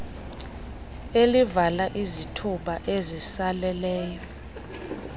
elivala izithuba ezisaleleyo